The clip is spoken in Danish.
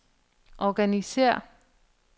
organisér